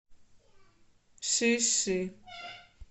шиши